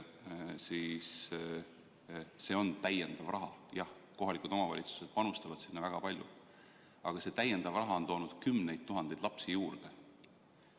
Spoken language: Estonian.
See on lisaraha, jah, kohalikud omavalitsused panustavad väga palju, aga see lisaraha on toonud kümneid tuhandeid lapsi juurde.